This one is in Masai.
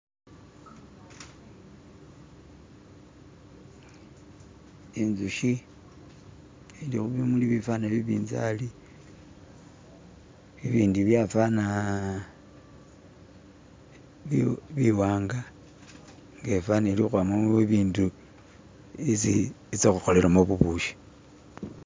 inzushi ilikhubimuli bifaana bibinzali ibindi byafana biwanga byafana bilikhebyamamo bibundi byesi itsa khukholelamo bubukhi.